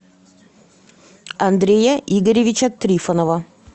андрея игоревича трифонова